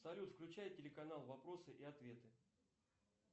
салют включай телеканал вопросы и ответы